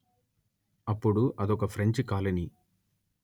అప్పుడు అదొక French colony